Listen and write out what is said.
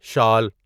شال